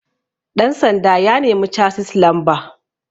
ɗansanda ya nemi casis lamba